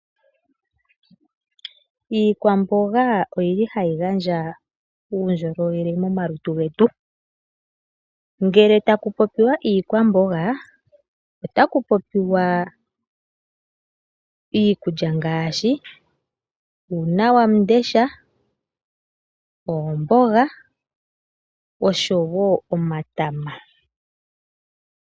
Iikwamboga oyili hayi gandja uundjolowele momalutu getu. Ngele taku popiwa iikwamboga otaku popiwa iikulya ngaashi uunawamundesha, oomboga oshowo omatama.